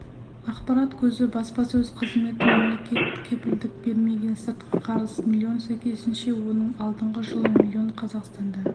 ақпарат көзі баспасөз қызметі мемлекет кепілдік бермеген сыртқы қарыз млн сәйкесінше оның алдыңғы жылы млн қазақстанда